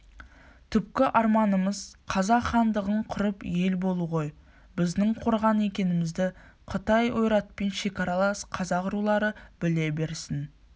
түпкі арманымыз қазақ хандығын құрып ел болу ғой біздің қорған екенімізді қытай ойратпен шекаралас қазақ рулары біле берсін